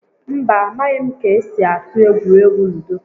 Mba, a maghị m ka-esi atụ egwuregwu ludo